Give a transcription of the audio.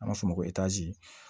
An b'a fɔ o ma ko